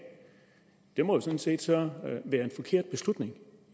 det må jo sådan set være en forkert beslutning